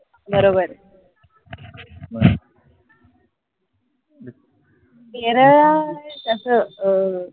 बरोबर केरळ तसं अं